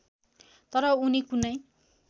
तर उनी कुनै